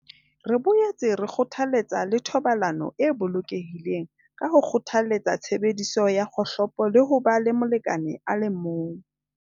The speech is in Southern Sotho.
"Re boetse re kgothaletsa le thobalano e bolokehileng ka ho kgothaletsa tshebediso ya kgohlopo le ho ba le molekane a le mong."